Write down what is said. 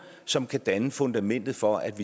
som kan danne fundamentet for at